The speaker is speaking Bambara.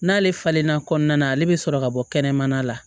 N'ale falenna kɔnɔna na ale bɛ sɔrɔ ka bɔ kɛnɛmana la